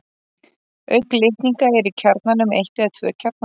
Auk litninga eru í kjarnanum eitt eða tvö kjarnakorn.